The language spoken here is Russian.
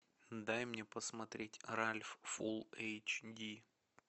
дай мне посмотреть ральф фул эйч ди